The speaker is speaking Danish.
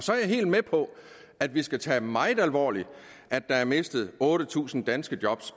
så er jeg helt med på at vi skal tage det meget alvorligt at der er mistet otte tusind danske job